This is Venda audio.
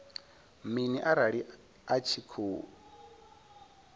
mini arali a tshi khou